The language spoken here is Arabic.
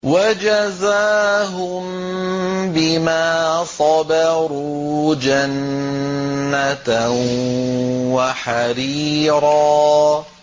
وَجَزَاهُم بِمَا صَبَرُوا جَنَّةً وَحَرِيرًا